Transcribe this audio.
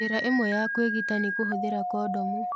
Njĩra ĩmwe ya kwĩgitĩra nĩ kũhũthĩra kondomu.